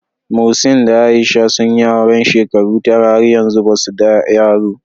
Muhseen da Aisha sun yi aure shekaru tara, har yanzu ba su da yaro.